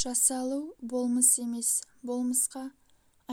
жасалу болмыс емес болмысқа